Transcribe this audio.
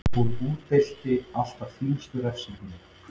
Hún útdeilir alltaf þyngstu refsingunni.